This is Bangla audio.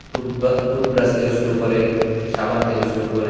টুথব্রা টুথব্রাশ থেকে শুরু করে সাবান থেকে শুরু করে--